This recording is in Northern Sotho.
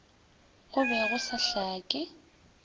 go be go sa hlake